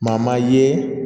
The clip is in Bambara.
Maa maa ye